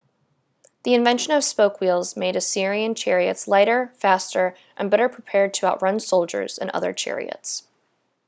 the invention of spoke wheels made assyrian chariots lighter faster and better prepared to outrun soldiers and other chariots